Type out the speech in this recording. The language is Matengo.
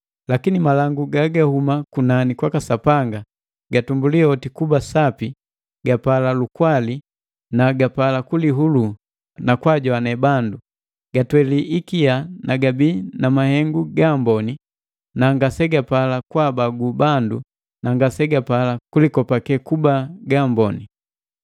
Lakini malangu gagahuma kunani kwaka Sapanga, gatumbuli oti kuba sapi gapala lukwali na gapala kulihulu na kwaajoane bandu; gatweli ikia na gabii na mahengu gaamboni na ngasegapala kwaabagu bandu na ngasegapala kulikopake kuba gaamboni.